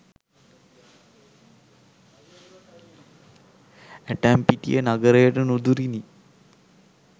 ඇටම්පිටිය නගරයට නුදුරිනි.